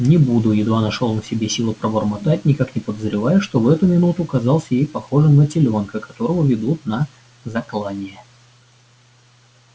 не буду едва нашёл он в себе силы пробормотать никак не подозревая что в эту минуту казался ей похожим на телёнка которого ведут на заклание